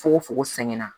Fogo fogo sɛgɛn na